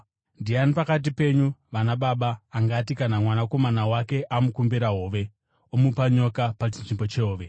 “Ndiani pakati penyu vanababa, angati, kana mwanakomana wake amukumbira hove, omupa nyoka pachinzvimbo chehove?